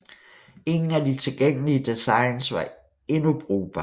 Ingen af de tilgængelige designs var endnu brugbare